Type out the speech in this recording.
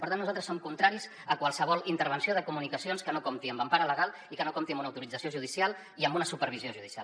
per tant nosaltres som contraris a qualsevol intervenció de comunicacions que no compti amb empara legal i que no compti amb una autorització judicial i amb una supervisió judicial